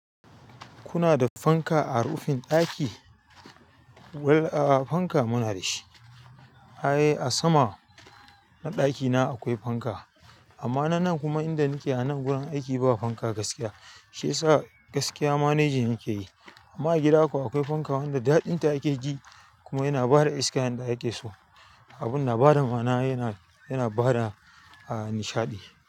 Kuna da fanka a rufin ɗaki? Well, a fanka muna da shi. Ae, a sama na ɗakina akwai fanka. Amma na nan kuma inda nake a nan gurin aiki ba fanka gaskiya. Shi yasa gaskiya managing nake yi. Amma a gida kuwa akwai fanka wanda daɗinta ake ji kuma yana bada iska inda ake so. Abun na bada mana, yana, yana bada nishaɗi.